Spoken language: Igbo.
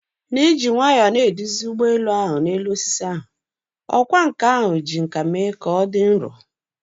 N'iji nwayọọ na-eduzi ụgbọ elu ahụ n'elu osisi ahụ, ọkwá nkà ahụ ji nkà mee ka ọ dị nro.